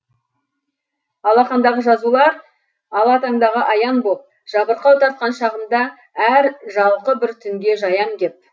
алақандағы жазулар ала таңдағы аян боп жабырқау тартқан шағымды әр жалқы бір түнге жаям кеп